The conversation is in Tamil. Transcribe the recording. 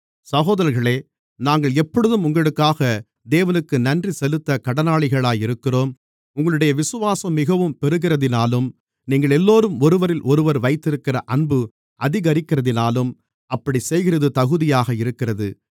சகோதரர்களே நாங்கள் எப்பொழுதும் உங்களுக்காக தேவனுக்கு நன்றிசெலுத்த கடனாளிகளாக இருக்கிறோம் உங்களுடைய விசுவாசம் மிகவும் பெருகுகிறதினாலும் நீங்களெல்லோரும் ஒருவரிலொருவர் வைத்திருக்கிற அன்பு அதிகரிக்கிறதினாலும் அப்படிச் செய்கிறது தகுதியாக இருக்கிறது